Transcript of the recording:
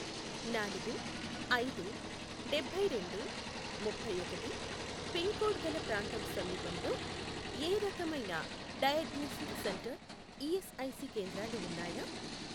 నాలుగు, ఐదు, డబ్బైరెండు, ముప్పైఒకటి, పిన్ కోడ్ గల ప్రాంతం సమీపంలో ఏ రకమైన డయాగ్నోస్టిక్ సెంటర్ ఈఎస్ఐసి కేంద్రాలు ఉన్నాయా?